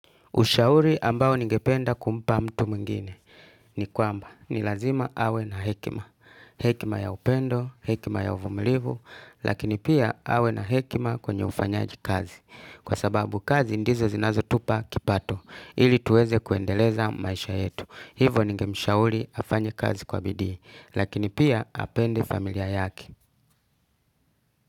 Ushauri ambao ningependa kumpa mtu mwingine ni kwamba. Ni lazima awe na hekima. Hekima ya upendo, hekima ya uvumulivu, lakini pia awe na hekima kwenye ufanyaji kazi. Kwa sababu kazi ndizo zinazo tupa kipato ili tuweze kuendeleza maisha yetu. Hivo ningemshauri afanya kazi kwa bidii lakini pia apende familia yake.